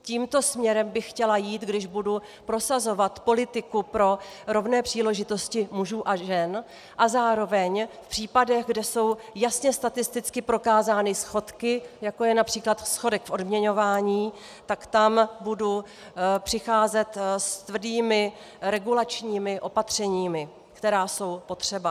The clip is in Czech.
Tímto směrem bych chtěla jít, když budu prosazovat politiku pro rovné příležitosti mužů a žen, a zároveň v případech, kde jsou jasně statisticky prokázány schodky, jako je například schodek v odměňování, tak tam budu přicházet s tvrdými regulačními opatřeními, která jsou potřeba.